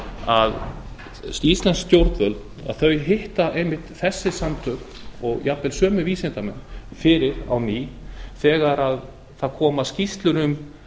að íslensk stjórnvöld hitta einmitt þessi samtök og jafnvel sömu vísindamenn fyrir á ný þegar skýrslur koma um